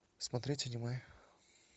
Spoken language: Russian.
смотреть аниме